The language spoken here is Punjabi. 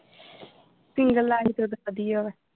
ਸਿੰਗਲ ਲਾਈਫ ਫੇਰ ਤੇ ਵਧੀਆ ਵਾ।